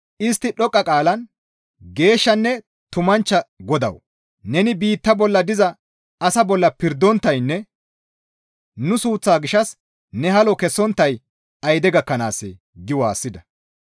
Istti dhoqqa qaalan, «Geeshshanne tumanchcha Godawu! Neni biitta bolla diza asaa bolla pirdonttaynne nu suuththaa gishshas ne halo kessonttay ayide gakkanaassee?» gi waassida.